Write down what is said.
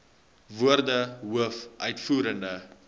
woorde hoof uitvoerende